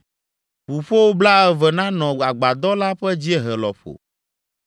Ʋuƒo blaeve nanɔ agbadɔ la ƒe dziehe lɔƒo.